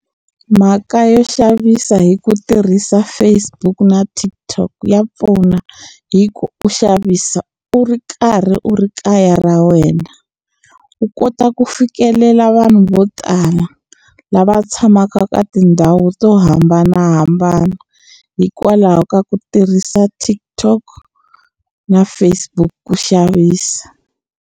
Mhaka yo xavisa hi ku tirhisa Facebook na TikTok ya pfuna hi ku u xavisa u ri karhi u ri kaya ra wena u kota ku fikelela vanhu vo tala lava tshamaka ka tindhawu to hambanahambana hikwalaho ka ku tirhisa TikTok na Facebook ku xavisa.